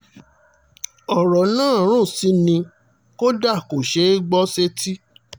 ọ̀rọ̀ náà rún sí ni kódà kò ṣeé gbọ́ sétí